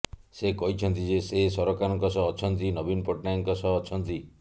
ସେ କହିଛନ୍ତି ଯେ ସେ ସରକାରଙ୍କ ସହ ଅଛନ୍ତି ନବୀନ ପଟ୍ଟନାୟକଙ୍କ ସହ ଅଛନ୍ତି